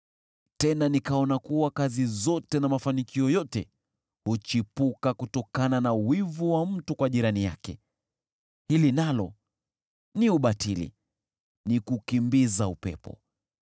Tena nikaona kuwa kazi zote na mafanikio yote huchipuka kutokana na wivu wa mtu kwa jirani yake. Hili nalo ni ubatili, ni kukimbiza upepo.